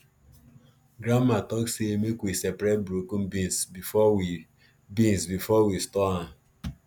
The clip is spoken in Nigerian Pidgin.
grandma talk say make we separate broken beans before we beans before we store am